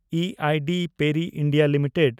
E I D Parry (India) limited